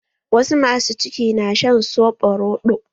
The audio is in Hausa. Wasu ma su ciki na shan soɓo rodo